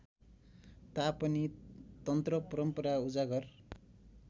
तापनि तन्त्रपरम्परा उजागर